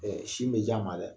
sin bɛ j'a ma dɛ.